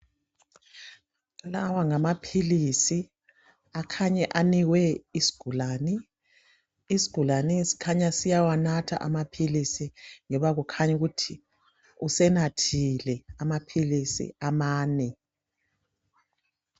lawa ngamaphilisi akhanya anikwe isigulane isigulane sikhanya siyawanatha amaphilisi njoba kukhanya ukuthi usenathile amaphilisi amane